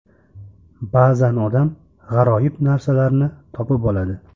Ba’zan odam g‘aroyib narsalarni topib oladi.